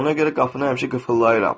Ona görə qapını həmişə qıfıllayıram.